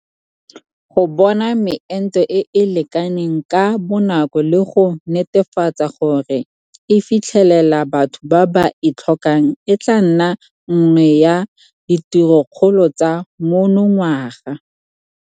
Go bona meento e e lekaneng ka bonako le go netefatsa gore e fitlhelela batho ba ba e tlhokang e tla nna nngwe ya ditirokgolo tsa monongwaga.